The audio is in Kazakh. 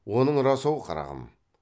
оның рас ау қарағым